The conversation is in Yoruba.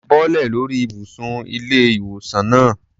Bọ́lẹ̀ lórí ìbùsùn ilé-ìwòsaln náà.